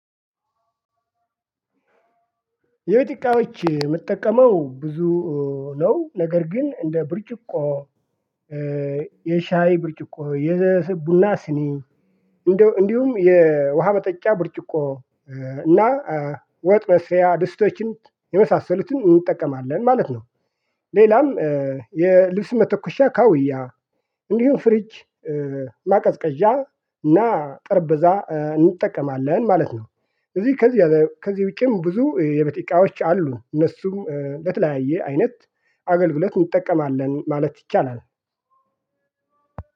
የቤት እቃዎች የምትጠቀመው ብዙ ነው ነገር ግን እንደ ብርጭቆ የሻይ ብርጭቆ የቡና ስኒ እንዲሁም የውሃ መጠጫ ብርጭቆ እና ወጥ መስሪያ ድስቶችን የመሳሰሉትን እንጠቀማለን ማለት ነው። ሌላም የልብስ መተኮሻ ካውያ እንዲሁም ፍሪጅ ማቀዝቀዣ እና ጠርበዛ እንጠቀማለን ማለት ነው። እዚህ ከዚህ ከዚህ ዉጪም ብዙ የቤት እቃዎች አሉ እነሱም በተለያየ አይነት አገልግለት እንጠቀማለን ማለት ይቻላል።